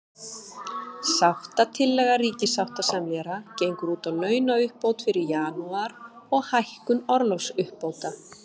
Sáttatillaga ríkissáttasemjara gengur út á launauppbót fyrir janúar, og hækkun orlofsuppbóta.